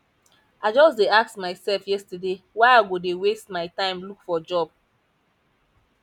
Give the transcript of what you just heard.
i just dey ask myself yesterday why i go dey waste my time look for job